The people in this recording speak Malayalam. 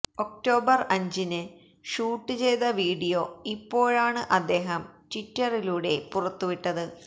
ഒക്ടോബര് അഞ്ചിന് ഷൂട്ട് ചെയ്ത വീഡിയോ ഇപ്പോഴാണ് അദ്ദേഹം ട്വിറ്ററിലൂടെ പുറത്തുവിട്ടത്